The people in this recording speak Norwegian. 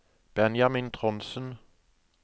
Benjamin Trondsen